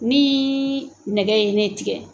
Ni nɛgɛ ye ne tigɛ